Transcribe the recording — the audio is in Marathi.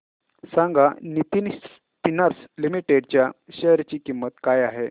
सांगा नितिन स्पिनर्स लिमिटेड च्या शेअर ची किंमत काय आहे